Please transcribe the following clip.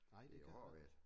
Det jo hård ved det